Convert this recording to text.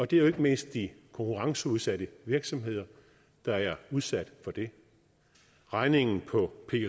det er ikke mindst de konkurrenceudsatte virksomheder der er udsat for det regningen for